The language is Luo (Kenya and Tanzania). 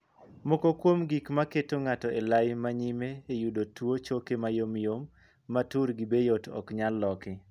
Moko kuom gik ma keto ng'ato elai ma nyime eyudo tuo choke mayomyom ma turgi be yot ok nyal loki.